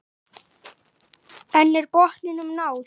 En er botninum náð?